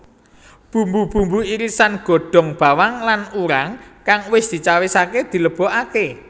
Bumbu bumbu irisan godhong bawang lan urang kang wis dicawisake dilebokake